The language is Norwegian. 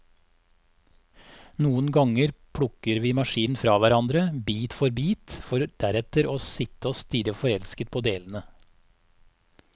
Noen ganger plukker vi maskinen fra hverandre, bit for bit, for deretter å sitte og stirre forelsket på delene.